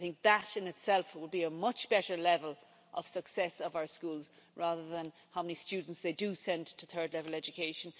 I think that in itself would be a much better level of success of our schools, rather than how many students they send to third level education.